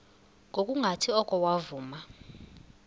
ngokungathi oko wavuma